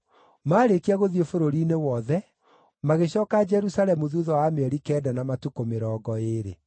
Maarĩkia gũthiĩ bũrũri-inĩ wothe, magĩcooka Jerusalemu thuutha wa mĩeri kenda na matukũ mĩrongo ĩĩrĩ.